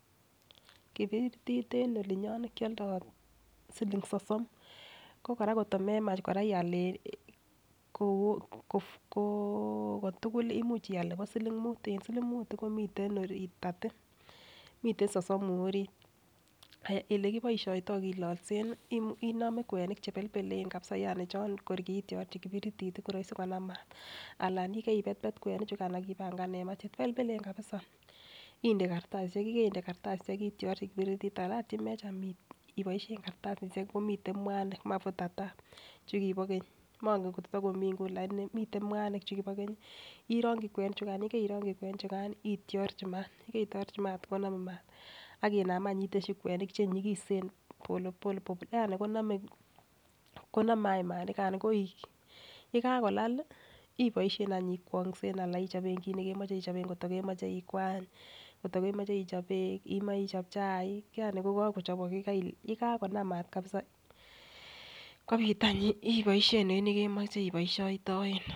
Kipirit en olii nyon kiodoi siling sosom ko kora kotko Menach ial en ko koo kotukul imuch ial nebo siling mut en siling mut komii orit therty miten sosomu orit. Aya olekiboishoito kilolsen inome kwenik chebelbelen kabisa chon kitrorchi kipiritit tii ko roisi Kolal mat anan yekeibetbet kwenik chukan ak ipangan en maa chebelbelen kabisa inde kartasishek yekeinde kartasishek itiorchi kipiritit anan ot yemecham iboishen kartasishek komiten muanik makutata chekibo keny mongen kotitokomii nguni lakini miten mwanik chukibo keny orongi kwenik chukan yekeirongi kwenik chukan ityorchi maat yekoityorchi mat konome maat akinam anch iteshi kwenik chenyikisen pole pole yani konome konome any mat nikano koik. Yekakolal iboishen anch ikwongsen anan ochobe kit nekemoche ichoben koto kemoche ikwany kotko kemoche ichob beek imoche chaik yani ko kokochobok kii Kai yekakonam mat kabisa kopit anch imoishen en yekemoche oboishoitoen.